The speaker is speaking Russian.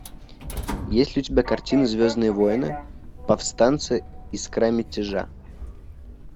есть ли у тебя картина звездные войны повстанцы искра мятежа